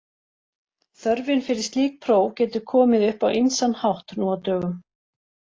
Þörfin fyrir slík próf getur komið upp á ýmsan hátt nú á dögum.